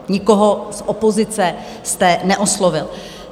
Nikoho z opozice jste neoslovil.